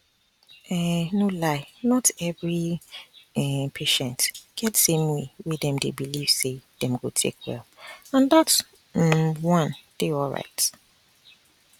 um no lie not every um patient get same way wey dem dey believe say dem go take well and dat um one dey alright